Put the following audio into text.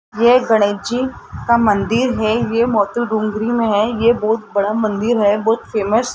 ये गणेश जी का मंदिर है ये मोती डूंगरी में है ये बहुत बड़ा मंदिर है बहुत फेमस --